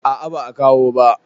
A'a ba a kawo ba.